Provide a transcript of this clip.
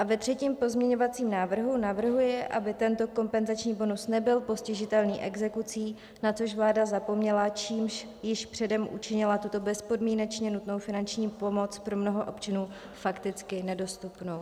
A ve třetím pozměňovacím návrhu navrhuji, aby tento kompenzační bonus nebyl postižitelný exekucí, na což vláda zapomněla, čímž již předem učinila tuto bezpodmínečně nutnou finanční pomoc pro mnoho občanů fakticky nedostupnou.